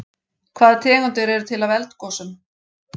Hvaða tegundir eru til af eldgosum?